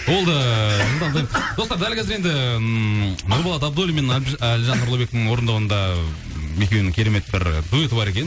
ол да жылдам достар дәл қазір енді ммм нұрболат абудллин мен әлжан нұрлыбектің орындауында м екеуінің керемет бір дуэті бар екен